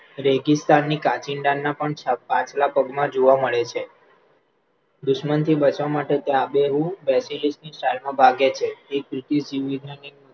રેગિસ્તાનની કાચિંડાના પણ પાછલાં પગમાં જોવા મળે છે, દુશ્મનથી બચવા માટે તે આબેહૂબ ની style માં ભાગે છે,